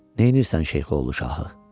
Nəyirsən şeyxoğlu şahı?